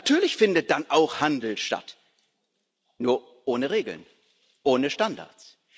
Natürlich findet dann auch Handel statt, nur ohne Regeln, ohne Standards.